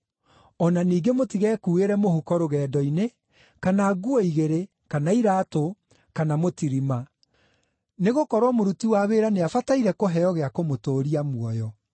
O na ningĩ mũtigekuuĩre mũhuko rũgendo-inĩ, kana nguo igĩrĩ, kana iraatũ, kana mũtirima; nĩgũkorwo mũruti wa wĩra nĩabataire kũheo gĩa kũmũtũũria muoyo.